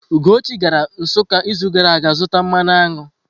Ugochi gara Nsukka izu gara aga zụta mmanụ aṅụ.